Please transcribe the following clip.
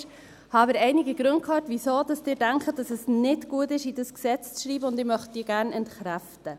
Ich habe aber einige Gründe gehört, wieso Sie denken, dass es nicht gut ist, dies in dieses Gesetz zu schreiben, und ich möchte sie gerne entkräften.